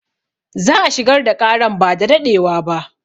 Za a shigar da ƙaran ba da daɗewa ba